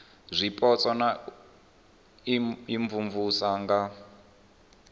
zwipotso na u imvumvusa nga